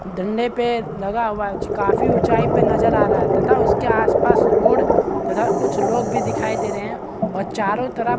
धलले पे लगा हुआ हैं ज काफी ऊचाई पे नज़र आ रहा है तथा उसके आस-पास रोड तथा कुछ लोग भी दिखाई दे रहै है और चारो तरफ--